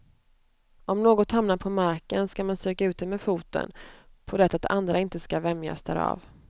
Om något hamnar på marken skall man stryka ut det med foten, på det att andra inte skall vämjas därav.